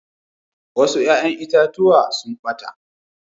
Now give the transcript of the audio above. Wasu ƴa'ƴan itatuwa sun ɓata.